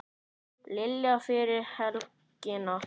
Lillý: Fyrir helgina?